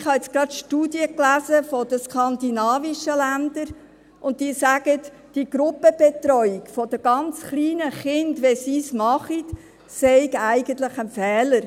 Ich habe gerade Studien aus den skandinavischen Länder gelesen, und diese sagen, eigentlich sei die Gruppenbetreuung der ganz kleinen Kinder, die sie kennen, ein Fehler.